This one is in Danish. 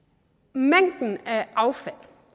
mængden af affald